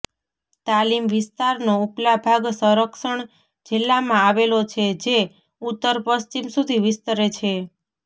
તાલીમ વિસ્તારનો ઉપલા ભાગ સંરક્ષણ જિલ્લામાં આવેલો છે જે ઉત્તરપશ્ચિમ સુધી વિસ્તરે છે